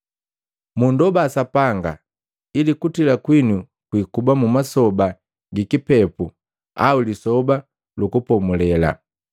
Mundoba Sapanga ili kutila kwinu kwikuba mu masoba gi kipepu au Lisoba lu Kupomulela!